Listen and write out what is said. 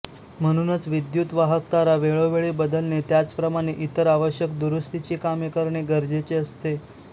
म्हणूनच विद्युत वाहक तारा वेळोवेळी बदलणे त्याचप्रमाणे इतर आवश्यक दुरुस्तीची कामे करणे गरजेचे असते